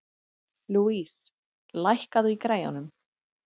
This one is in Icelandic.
Louise, lækkaðu í græjunum.